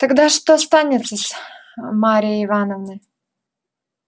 тогда что станется с марьей ивановной